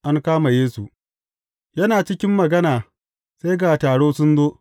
An kama Yesu Yana cikin magana sai ga taro sun zo.